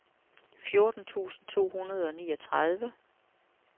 fjorten tusind to hundrede og niogtredive